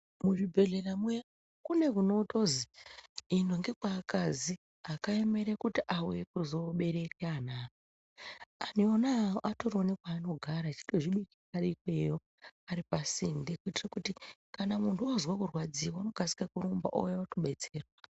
Muzvibhedhlera medu kune kunotonzi ino ndekwevakadzi akaemera kuti auye kuzobereka ana awo antu ona iwawo atori nekwanogara eitozvibikira Ari pasinde kuitira kuti kana muntu ozwa kurwadziwa anokasira kurumba ouya kundodetserwa.